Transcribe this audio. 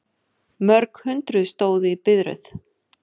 Mörg hundruð stóðu í biðröð